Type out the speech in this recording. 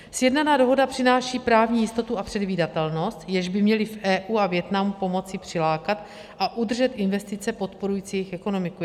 Sjednaná dohoda přináší právní jistotu a předvídatelnost, jež by měly v EU a Vietnamu pomoci přilákat a udržet investice podporující jejich ekonomiku.